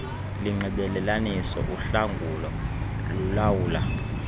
linxibelelanisa uhlangulo lulawula